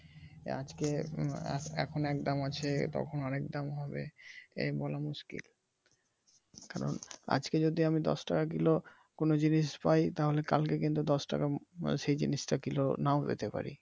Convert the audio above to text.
তো আজকে এখন এক দাম আছে তখন একদাম হবে এ বলা মুশকিল কারন আজকে যদি আমি দশ টাকা কিলো কোন জিনিস পাই তাহলে কালকে কিন্তু দশ টাকা সেই জিনিসটা কিলো নাও পেতে পারি ।